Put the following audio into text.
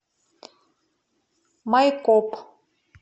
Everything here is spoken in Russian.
майкоп